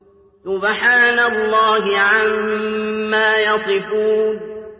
سُبْحَانَ اللَّهِ عَمَّا يَصِفُونَ